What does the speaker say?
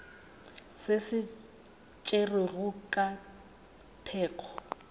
se se tšerwego ka thekgo